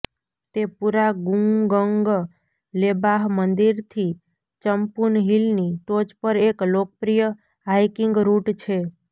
તે પૂરા ગુંગંગ લેબાહ મંદિરથી ચંપુન હિલની ટોચ પર એક લોકપ્રિય હાઇકિંગ રૂટ છે